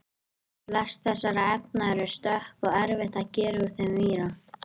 flest þessara efna eru stökk og erfitt að gera úr þeim víra